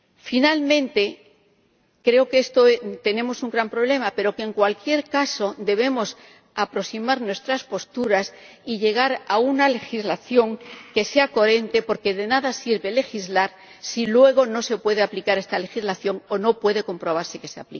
Finalmente, creo que tenemos un gran problema, pero que, en cualquier caso, debemos aproximar nuestras posturas y llegar a una legislación que sea coherente, porque de nada sirve legislar si luego no se puede aplicar esta legislación o no puede comprobarse que se